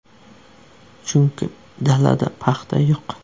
Chunki dalada paxta yo‘q.